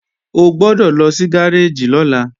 O gbọ́dọ̀ lọ sí gáréèjì lọ́la